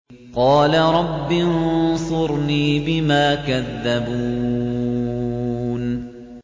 قَالَ رَبِّ انصُرْنِي بِمَا كَذَّبُونِ